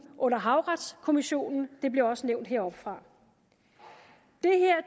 under havretskommissionen det blev også nævnt heroppefra